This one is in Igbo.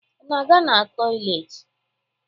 Ị na-aga na tọyịleetị?